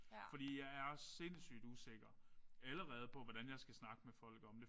Fordi jeg er sindssygt usikker allerede på hvordan jeg skal snakke med folk om det